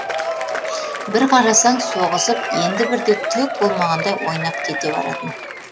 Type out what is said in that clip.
бір қарасаң соғысып енді бірде түк болмағандай ойнап кете баратын